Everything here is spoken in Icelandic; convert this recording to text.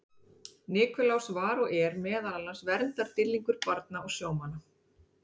Nikulás var og er meðal annars verndardýrlingur barna og sjómanna.